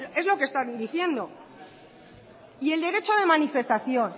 es lo que están diciendo y el derecho de manifestación